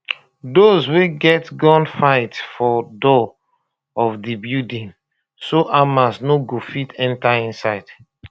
those wey get gun fight for door of di building so hamas no go fit enta inside